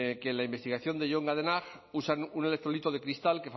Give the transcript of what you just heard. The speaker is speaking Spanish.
que en la investigación de john goodenough usan un electrolito de cristal